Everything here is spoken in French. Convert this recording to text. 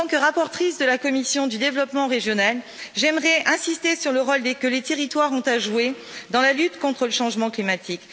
En tant que rapporteure de la commission du développement régional, j'aimerais insister sur le rôle que les territoires ont à jouer dans la lutte contre le changement climatique.